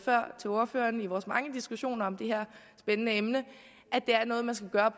før til ordførererne i vores mange diskussioner om det her spændende emne